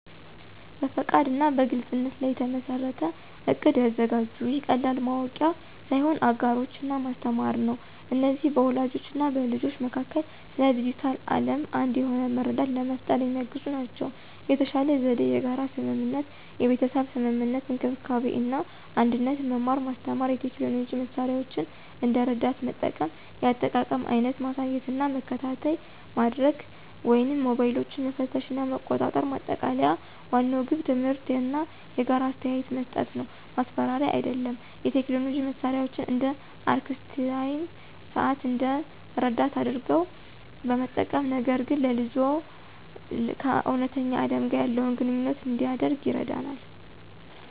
በፈቃድ እና በግልፅነት ላይ የተመሠረተ እቅድ ያዘጋጁ። ይህ ቀላል ማወቂያ ሳይሆን አጋሮች እና ማስተማር ነው። እነዚህ በወላጆች እና በልጆች መካከል ስለ ዲጂታል ዓለም አንድ የሆነ መረዳት ለመፍጠር የሚያግዙ ናቸው። የተሻለ ዘዴ የጋራ ስምምነት (የቤተሰብ ስምምነት፣ እንክብካቤ እና አንድነት፣ መማር ማስተማር፣ የቴክኖሎጂ መሳሪያዎችን እንደ ረዳት መጠቀም፣ የአጠቃቀም አይነት ማሳየት እና መከታተይ ማድርግ ወይም ሞባይሎችን መፈተሽ እና መቆጣጠር። ማጠቃለያ ዋናው ግብ ትምህርት እና የጋራ አስተያየት መስጠት ነው፣ ማስፈራሪያ አይደለም። የቴክኖሎጂ መሳሪያዎችን (እንደ አርክስታይም ሰዓት) እንደ ረዳት አድርገው በመጠቀም፣ ነገር ግን ልጅዎ ከእውነተኛ ዓለም ጋር ያለውን ግንኙነት እንዲያደርግ ይረዳናል።